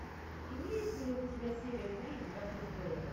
имеется ли у тебя серия три игра престолов